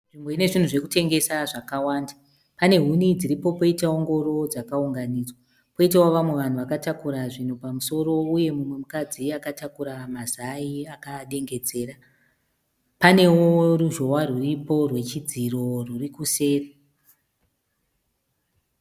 Nzvimbo inezvinhu zvekutengesa zvakawanda. Pane huni dziripo poitawo ngoro dzakaunganidzwa. Poitawo vamwe vanhu vakatakura zvinhu pamusoro uye mumwe mukadzi akatakura mazai akaadengedzera. Panewo ruzhowa rwuripo rechidziro rwurikuseri.